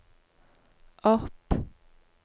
opp